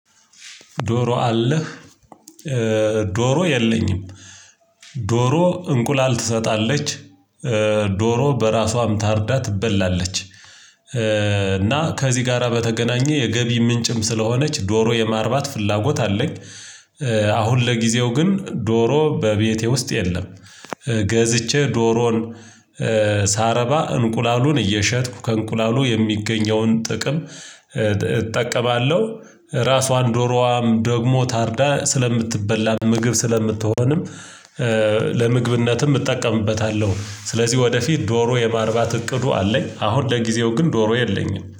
ዶሮ አለህ? ዶሮ የለኝም። ዶሮ እንቁላል ትሰጣለች ዶሮ በራሷም ታርዳ ትበላለች። እና ከዚህ ጋራ በተገናኘ የገቢ ምንጭም ስለሆነች ዶሮ የማርባት ፍላጎት አለኝ። አሁን ለጊዜው ግን ዶሮ በቤቴ ውስጥ የለም። ገዝቼ ዶሮን። ሳረባ እንቁላሉን እየሸጥኩ ከእንቁላሉ የሚገኘውን ጥቅም እጠቀማለሁ። ራሷን ዶሮዋም ደግሞ ታርዳ ስለምትበላ ምግብ ስለምትሆንም። ለምግብነትም እጠቀምበታለሁ። ስለዚህ ወደፊት ዶሮ የማርባት እቅዱ አለኝ አሁን ለጊዜው ግን ዶሮ የለኝም